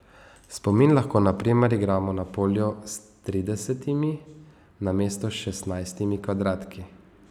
Spomin lahko, na primer, igramo na polju s tridesetimi namesto šestnajstimi kvadratki.